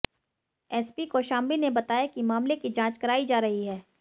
SP Kaushambi ने बताया कि मामले की जांच कराई जा रही है